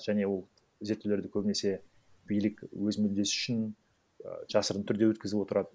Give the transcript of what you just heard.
және ол зерттеулерді көбінесе билік өз мүддесі үшін і жасырын түрде өткізіп отырады